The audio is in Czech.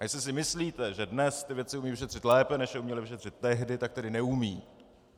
A jestli si myslíte, že dnes ty věci umějí vyšetřit lépe, než je uměli vyšetřit tehdy, tak tedy neumějí.